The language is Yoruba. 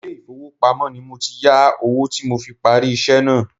Ilé ifowopamo ni mo ti yà owó tí mo fi parí iṣẹ́ náà.